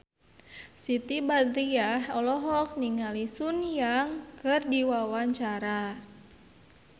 Siti Badriah olohok ningali Sun Yang keur diwawancara